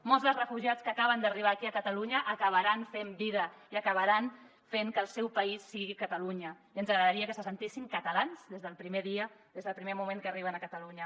molts dels refugiats que acaben d’arribar aquí a catalunya acabaran fent que el seu país sigui catalunya i ens agradaria que se sentissin catalans des del primer dia des del primer moment que arriben a catalunya